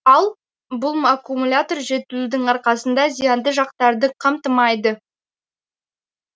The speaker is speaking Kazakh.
ал бұл аккумулятор жетілудің арқасында зиянды жақтарды қамтымайды